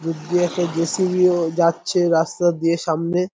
দূর দিয়ে একটা জে সি.বি.ও যাচ্ছে রাস্তা দিয়ে সামনে।